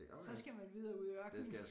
Så skal man videre ud i ørkenen